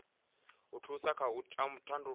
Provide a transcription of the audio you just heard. a thusa kha u tandulula